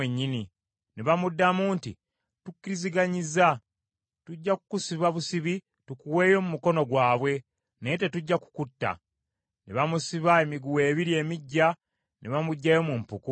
Ne bamuddamu nti, “Tukkiriziganyizza. Tujja kukusiba busibi, tukuweeyo mu mukono gwabwe, naye tetujja kukutta.” Ne bamusiba emiguwa ebiri emiggya ne bamuggyayo mu mpuku.